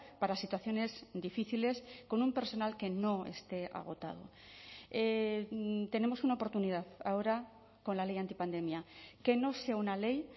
para situaciones difíciles con un personal que no esté agotado tenemos una oportunidad ahora con la ley antipandemia que no sea una ley